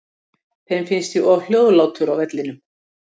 Þeim finnst ég of hljóðlátur á vellinum.